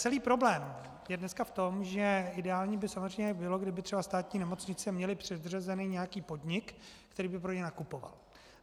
Celý problém je dnes v tom, že ideální by samozřejmě bylo, kdyby třeba státní nemocnice měly předřazený nějaký podnik, který by pro ně nakupoval.